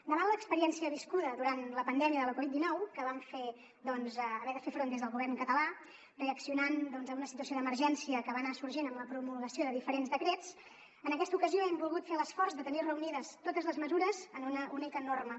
davant l’experiència viscuda durant la pandèmia de la covid dinou a què vam haver de fer front des del govern català reaccionant a una situació d’emergència que va anar sorgint amb la promulgació de diferents decrets en aquesta ocasió hem volgut fer l’esforç de tenir reunides totes les mesures en una única norma